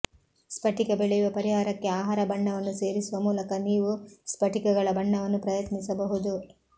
ಸ್ಫಟಿಕ ಬೆಳೆಯುವ ಪರಿಹಾರಕ್ಕೆ ಆಹಾರ ಬಣ್ಣವನ್ನು ಸೇರಿಸುವ ಮೂಲಕ ನೀವು ಸ್ಫಟಿಕಗಳ ಬಣ್ಣವನ್ನು ಪ್ರಯತ್ನಿಸಬಹುದು